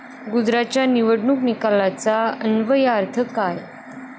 गुजरातच्या निवडणूक निकालांचा अन्वयार्थ काय?